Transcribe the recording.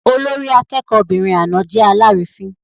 Olórí akẹ́kọ̀ọ́'bìnrin àná jẹ́ alárìífín.